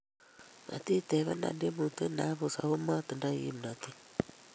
Matitebena tyemutie ne apus ako matingdoi kimnatet